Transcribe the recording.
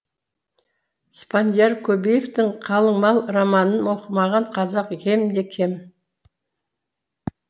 спандияр көбеевтің қалың мал романын оқымаған қазақ кемде кем